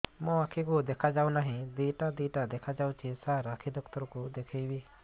ମୋ ଆଖିକୁ ଦେଖା ଯାଉ ନାହିଁ ଦିଇଟା ଦିଇଟା ଦେଖା ଯାଉଛି ସାର୍ ଆଖି ଡକ୍ଟର କୁ ଦେଖାଇବି